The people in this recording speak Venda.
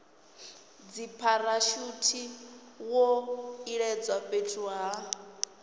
dzipharashuthi zwo iledzwa fhethu ha